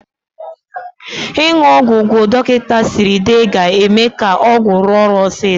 Ịṅụ ọgwụ gwụ dọkịta siri dee ga-eme ka ọgwụ rụọ ọrụ osiso.